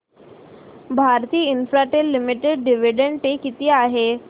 Bharti Infratel limited dividend pay किती आहे